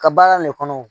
Ka baara nin kɔnɔ